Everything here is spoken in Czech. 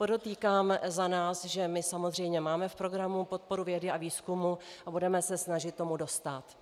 Podotýkám za nás, že my samozřejmě máme v programu podporu vědy a výzkumu a budeme se snažit tomu dostát.